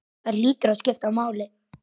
Það hlýtur að skipta máli?